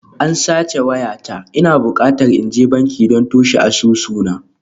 An sace wayata, ina bukata in je banki don toshe asusuna